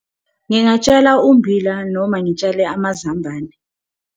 Ngingatshala ummbila noma ngitshale amazambane.